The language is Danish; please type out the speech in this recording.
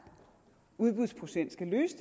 udbudsprocent skal løse